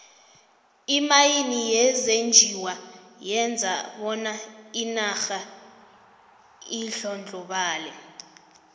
imayini yezenjiwa yenza bona inarha indlondlobale